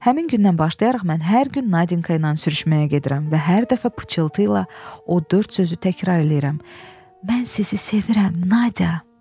Həmin gündən başlayaraq mən hər gün Nadinka ilə sürüşməyə gedirəm və hər dəfə pıçıltı ilə o dörd sözü təkrar eləyirəm: Mən sizi sevirəm, Nadya.